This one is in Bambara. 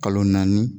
Kalo naani